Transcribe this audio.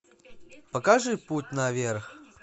покажи путь наверх